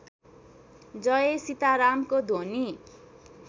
जय सीतारामको ध्वनि